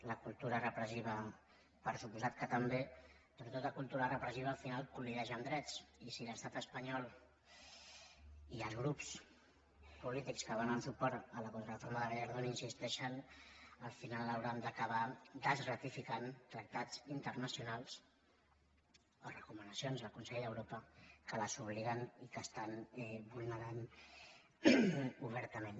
la cultura repressiva per descomptat que també però tota cultura repressiva al final col·lideix en drets i si l’estat espanyol i els grups polítics que donen suport a la contrareforma de gallardón hi insisteixen al final hauran d’acabar desratificant tractats internacionals o recomanacions del consell d’europa que els obliguen i que estan vulnerant obertament